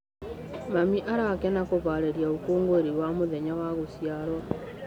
Mami arakena kũharĩria ũkũngũĩri wa mũthenya wa gũciarwo.